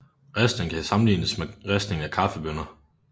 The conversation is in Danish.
Ristningen kan sammenlignes med ristningen af kaffebønner